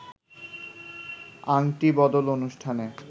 আংটি বদল অনুষ্ঠানে